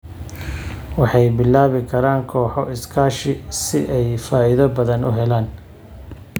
Waxay bilaabi karaan kooxo iskaashi si ay faa'iido badan u helaan.